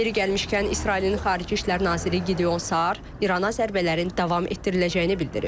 Yeri gəlmişkən İsrailin xarici İşlər naziri Gideon Sar İrana zərbələrin davam etdiriləcəyini bildirib.